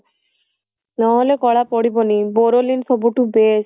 ନହେଲେ କଳା ପଡିବନି borolineସବୁ ଠୁ best